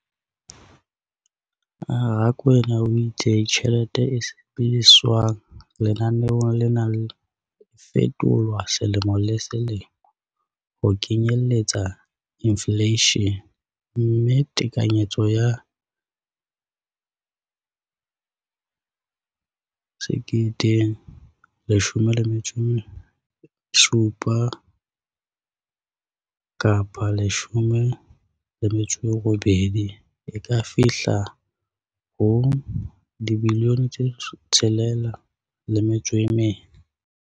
Rakwena o itse tjhelete e sebediswang lenaneong lena e fetolwa selemo le selemo ho kenyelletsa infleishene, mme tekanyetso ya 2017-18 e ka fihla ho R6.4 bilione.